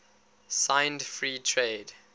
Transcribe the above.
signed free trade